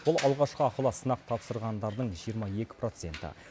бұл алғашқы ақылы сынақ тапсырғандардың жиырма екі проценті